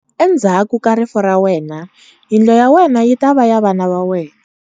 Endzhaku ka rifu ra wena yindlu ya wena yi ta va ya vana va wena.